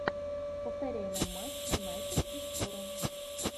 повторяй нам матч юнайтед и шпоры